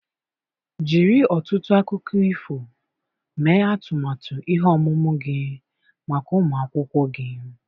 Jiri ọtụtụ akụkọ ifo mee atụmatụ ihe ọmụmụ gị maka ụmụ akwụkwọ gị.